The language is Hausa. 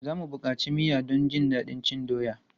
Za mu buƙaci miya don jin daɗin cin doya.